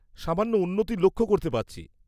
-সামান্য উন্নতি লক্ষ্য করতে পারছি।